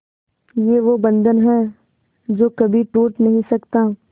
ये वो बंधन है जो कभी टूट नही सकता